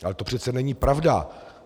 Ale to přece není pravda.